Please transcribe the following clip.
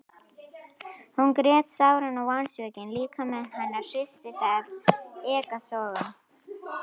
Hún grét sáran og vonsvikinn líkami hennar hristist af ekkasogum.